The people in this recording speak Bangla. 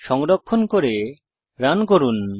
সংরক্ষণ করে রান করুন